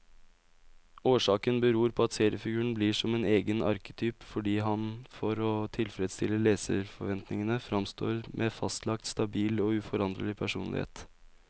Årsaken beror på at seriefiguren blir som egen arketyp, fordi han for å tilfredstille leserforventningen framstår med fastlagt, stabil og uforanderlig personlighet.